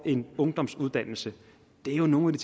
en ungdomsuddannelse det er jo nogle